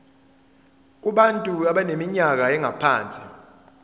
kubantu abaneminyaka engaphansi